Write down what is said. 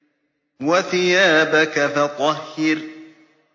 وَثِيَابَكَ فَطَهِّرْ